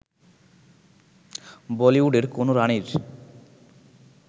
বলিউডের কোন রাণীর